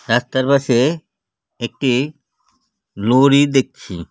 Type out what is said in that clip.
রাস্তার পাশে একটি লরি দেখছি .